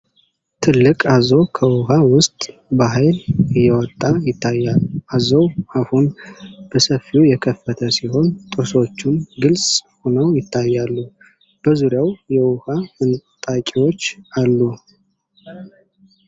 ትልቅ አዞ ከውሃ ውስጥ በኃይል እየወጣ ይታያል:: አዞው አፉን በሰፊው የከፍተ ሲሆን፣ ጥርሶቹም ግልጽ ሆነው ይታያሉ:: በዙሪያው የውሃ ፍንጣቂዎች አሉ ::